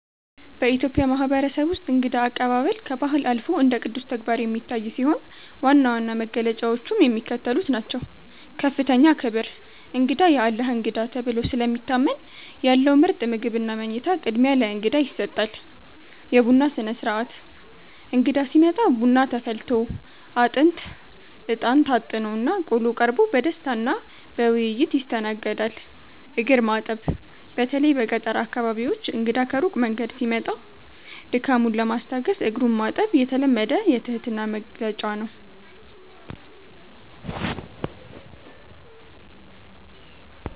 በኢትዮጵያ ማህበረሰብ ውስጥ እንግዳ አቀባበል ከባህል አልፎ እንደ ቅዱስ ተግባር የሚታይ ሲሆን፣ ዋና ዋና መገለጫዎቹም የሚከተሉት ናቸው፦ ከፍተኛ ክብር፦ እንግዳ "የአላህ እንግዳ" ተብሎ ስለሚታመን፣ ያለው ምርጥ ምግብና መኝታ ቅድሚያ ለእንግዳ ይሰጣል። የቡና ሥነ-ሥርዓት፦ እንግዳ ሲመጣ ቡና ተፈልቶ፣ አጥንት (እጣን) ታጥኖና ቆሎ ቀርቦ በደስታና በውይይት ይስተናገዳል። እግር ማጠብ፦ በተለይ በገጠር አካባቢዎች እንግዳ ከሩቅ መንገድ ሲመጣ ድካሙን ለማስታገስ እግሩን ማጠብ የተለመደ የትህትና መግለጫ ነው።